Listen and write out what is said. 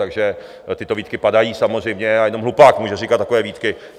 Takže tyto výtky padají samozřejmě a jenom hlupák může říkat takové výtky.